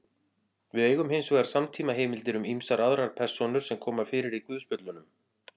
Við eigum hins vegar samtímaheimildir um ýmsar aðrar persónur sem koma fyrir í guðspjöllunum.